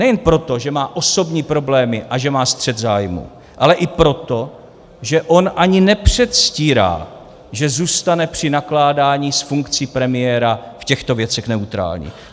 Nejen proto, že má osobní problémy a že má střet zájmů, ale i proto, že on ani nepředstírá, že zůstane při nakládání s funkcí premiéra v těchto věcech neutrální.